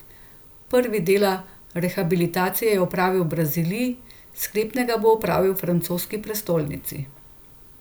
Prvi dela rehabilitacije je opravil v Braziliji, sklepnega bo opravil v francoski prestolnici.